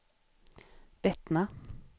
Bettna